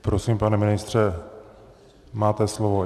Prosím, pane ministře, máte slovo.